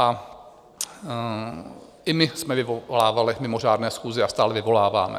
A i my jsme vyvolávali mimořádné schůze a stále vyvoláváme.